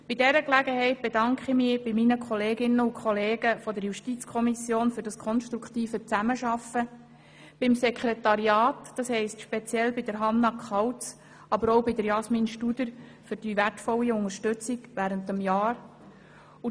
Bei dieser Gelegenheit bedanke ich mich bei meinen Kolleginnen und Kollegen der JuKo für das konstruktive Zusammenarbeiten, beim Sekretariat, speziell bei Hannah Kauz, aber auch bei Jasmin Studer, für die wertvolle Unterstützung während dieses Jahrs.